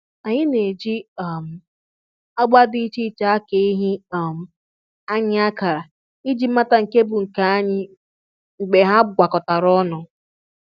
Anyị na-eji um agba dị iche iche aka ehi um anyị akara iji mata nke bụ nke anyị mgbe ha gwakọtara ọnụ